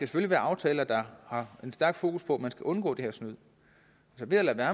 skal være aftaler der har en stærk fokus på at man skal undgå det her snyd så ved at lade være